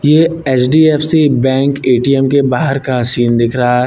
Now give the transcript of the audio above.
ये HDFC bank ATM के बाहर का सीन दिख रहा है।